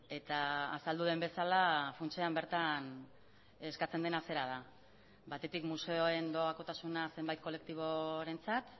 eta azaldu den bezala funtsean bertan eskatzen dena zera da batetik museoen doakotasuna zenbait kolektiborentzat